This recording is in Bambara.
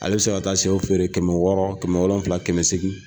Hale bɛ se ka taa shew feere kɛmɛ wɔɔrɔ kɛmɛ wolonfila kɛmɛ seegin.